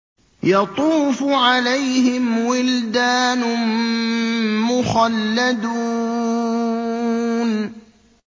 يَطُوفُ عَلَيْهِمْ وِلْدَانٌ مُّخَلَّدُونَ